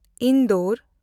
Indore